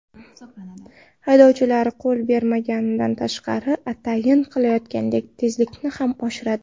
Haydovchilar yo‘l bermaganidan tashqari atayin qilayotganday tezlikni ham oshiradi.